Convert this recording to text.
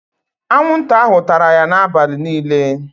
Anwụnta ahụ tara ya n'abalị niile.